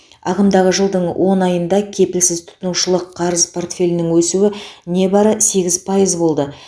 ағымдағы жылдың он айында кепілсіз тұтынушылық қарыз портфелінің өсуі небәрі сегіз пайыз болды